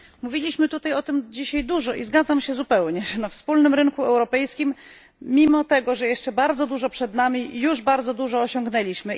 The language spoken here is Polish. Mówiliśmy dużo o tym dzisiaj i zgadzam się całkowicie, że na wspólnym rynku europejskim mimo tego, że jeszcze bardzo dużo przed nami już bardzo dużo osiągnęliśmy.